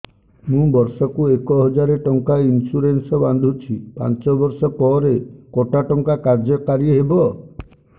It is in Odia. ମୁ ବର୍ଷ କୁ ଏକ ହଜାରେ ଟଙ୍କା ଇନ୍ସୁରେନ୍ସ ବାନ୍ଧୁଛି ପାଞ୍ଚ ବର୍ଷ ପରେ କଟା ଟଙ୍କା କାର୍ଯ୍ୟ କାରି ହେବ